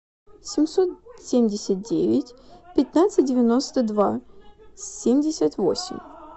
семьсот семьдесят девять пятнадцать девяносто два семьдесят восемь